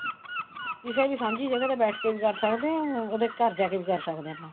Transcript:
ਕਿਸੇ ਵੀ ਸਾਂਝੀ ਜਗ੍ਹਾ ਤੇ ਬੈਠ ਕੇ ਵੀ ਕਰ ਸਕਦੇ ਹਾਂ ਉਹਦੇ ਘਰ ਜਾਕੇ ਵੀ ਕਰ ਸਕਦੇ ਹਾਂ ਆਪਾਂ